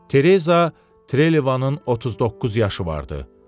Tereza Trelevanın 39 yaşı vardı.